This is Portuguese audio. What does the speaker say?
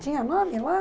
Tinha nome lá?